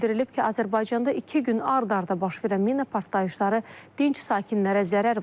Bildirilib ki, Azərbaycanda iki gün ard-arda baş verən mina partlayışları dinc sakinlərə zərər vurub.